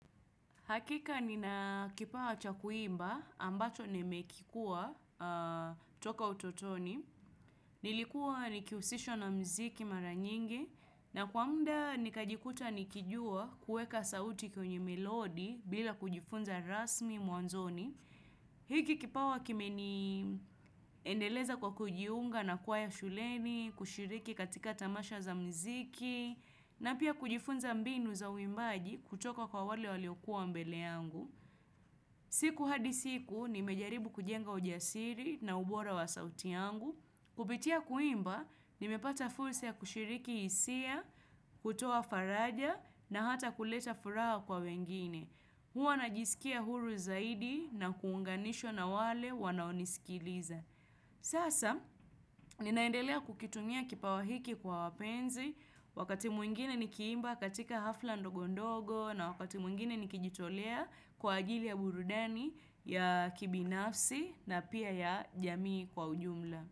Hakika nina kipawa cha kuimba ambacho nimekikuwa toka utotoni. Nilikuwa nikihusishwa na mziki mara nyingi na kwa muda nikajikuta nikijua kuweka sauti kwenye melodi bila kujifunza rasmi mwanzoni. Hiki kipawa kimeniendeleza kwa kujiunga na kwaya shuleni, kushiriki katika tamasha za mziki na pia kujifunza mbinu za uimbaji kutoka kwa wale waliokuwa mbele yangu. Siku hadi siku nimejaribu kujenga ujasiri na ubora wa sauti yangu. Kupitia kuimba, nimepata fursa ya kushiriki hisia, kutoa faraja na hata kuleta furaha kwa wengine. Mimi huwa najisikia huru zaidi na kuunganishwa na wale wanaonisikiliza. Sasa ninaendelea kukitumia kipawa hiki kwa wapenzi, wakati mwingine nikiimba katika hafla ndogondogo na wakati mwingine nikijitolea kwa ajili ya burudani ya kibinafsi na pia ya jamii kwa ujumla.